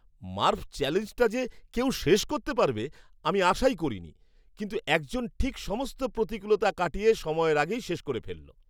মার্ফ চ্যালেঞ্জটা যে কেউ শেষ করতে পারবে আমি আশাই করিনি, কিন্তু একজন ঠিক সমস্ত প্রতিকূলতা কাটিয়ে সময়ের আগেই শেষ করে ফেলল।